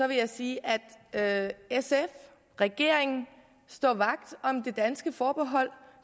vil jeg sige at sf og regeringen står vagt om det danske forbehold